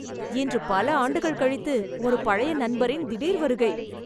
இன்று பல ஆண்டுகள் கழித்து ஒரு பழைய நண்பரின் திடீர் வருகை